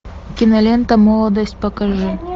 кинолента молодость покажи